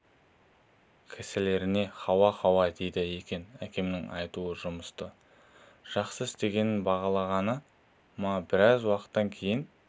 кісілеріне хау хау дейді екен әкемнің айтуы жұмысты жақсы істегенін бағалағаны ма біраз уақыттан кейін